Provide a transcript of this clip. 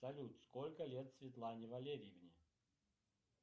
салют сколько лет светлане валерьевне